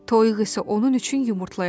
Toyuq isə onun üçün yumurtlayırdı.